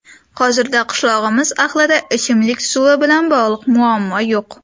Hozirda qishlog‘imiz ahlida ichimlik suvi bilan bog‘liq muammo yo‘q.